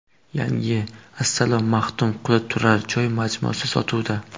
Yangi Assalom Maxtumquli turar joy majmuasi sotuvda!.